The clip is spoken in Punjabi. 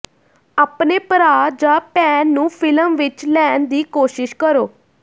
ਆਪਣੇ ਭਰਾ ਜਾਂ ਭੈਣ ਨੂੰ ਫ਼ਿਲਮ ਵਿਚ ਲੈਣ ਦੀ ਕੋਸ਼ਿਸ਼ ਕਰੋ